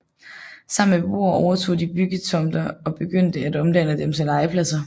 Sammen med beboere overtog de byggetomter og begyndte at omdanne dem til legepladser